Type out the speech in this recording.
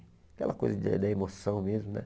Aquela coisa da da emoção mesmo, né?